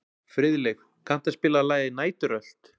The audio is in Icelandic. Friðleif, kanntu að spila lagið „Næturrölt“?